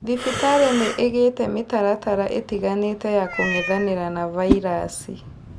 Thibitarĩ nĩ ĩigĩte mĩtaratara ĩtinganĩte ya kũng'ethanĩra na vairasi